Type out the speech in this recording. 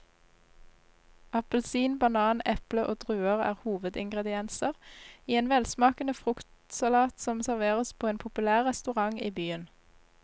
Appelsin, banan, eple og druer er hovedingredienser i en velsmakende fruktsalat som serveres på en populær restaurant i byen.